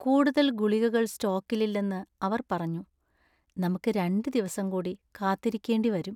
കൂടുതൽ ഗുളികകൾ സ്റ്റോക്കിലില്ലെന്ന് അവർ പറഞ്ഞു. നമ്മക്ക് രണ്ട് ദിവസം കൂടി കാത്തിരിക്കേണ്ടി വരും .